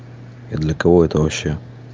я для кого это вообще